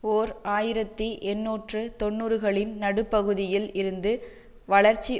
ஓர் ஆயிரத்தி எண்ணூற்று தொன்னூறுகளின் நடுப்பகுதியில் இருந்து வளர்ச்சி